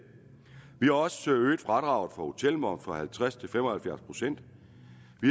vi har også øget fradraget for hotelmoms fra halvtreds procent til fem og halvfjerds procent